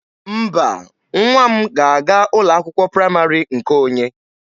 Mba, nwa m ga-aga ụlọ akwụkwọ praịmarị nke onye.